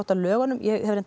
að lögunum ég